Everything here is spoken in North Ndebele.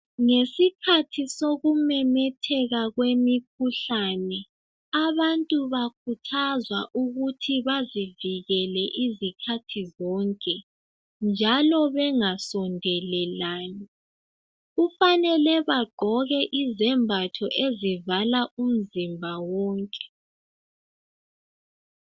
Ngesikhathi sokumemetheka kwemikhuhlane abantu bakhuthazwa ukuthi bazivikele izikhathi zonke njalo bengasondelelani kufanele bagqoke izembatho ezivala umzimba wonke.